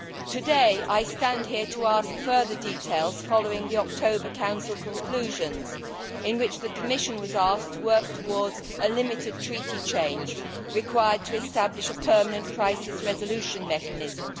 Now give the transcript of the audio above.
Today I stand here to ask further details following the October Council conclusions, in which the Commission was asked to work towards a limited treaty change required to establish a permanent crisis resolution mechanism.